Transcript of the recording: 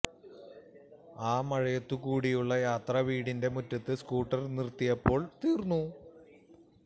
ആ മഴയത്തു കൂടിയുള്ള യാത്ര വീടിന്റെ മുറ്റത്ത് സ്കൂട്ടർ നിർത്തിയപ്പോൾ തീർന്നു